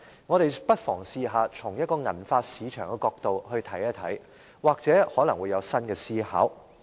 我們不妨嘗試從銀髮市場的角度來看，或許可能會有新的思考。